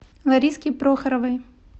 лариске прохоровой